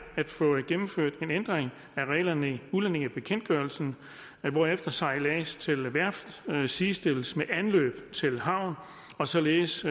at få gennemført en ændring af reglerne i udlændingebekendtgørelsen hvorefter sejlads til værft sidestilles med anløb til havn og således